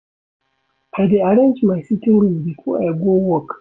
I dey arrange my sitting room before I go work.